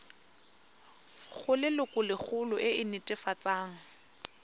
go lelokolegolo e e netefatsang